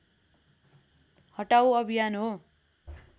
हटाउ अभियान हो